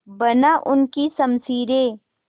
बना उनकी शमशीरें